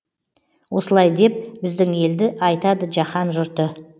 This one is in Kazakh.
осылай деп біздің елді айтады жаһан жұрты